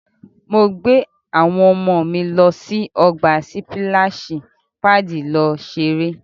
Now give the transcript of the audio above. Mo gbé àwọn ọmọ mi lọ́ sí ọgbà sípíláṣì paàdì lọ ṣeré.